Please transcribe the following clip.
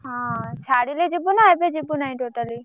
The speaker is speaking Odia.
ହଁ ଛାଡିଲେ ଯିବୁନା ଏବେ ଯିବୁନାଇଁ totally ?